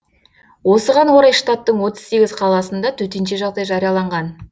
осыған орай штаттың отыз сегіз қаласында төтенше жағдай жарияланған